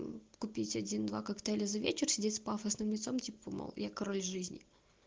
купить один два коктейля за вечер сидеть с пафосным лицом типа мол я король жизни